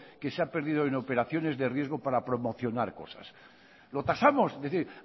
que se ha perdido en operaciones de riesgo para promocionar cosas lo tasamos es decir